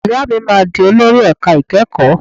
Ìyá mi máa di olórí ẹ̀ka ìkẹ́kọ̀ọ́.